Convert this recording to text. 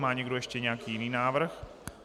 Má někdo ještě nějaký jiný návrh?